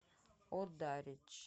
одарич